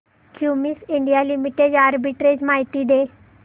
Cummins India limited arbitrage माहिती दे